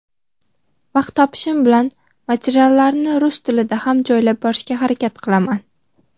vaqt topishim bilan materiallarni rus tilida ham joylab borishga harakat qilaman.